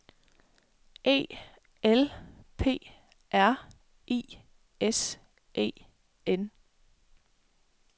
E L P R I S E N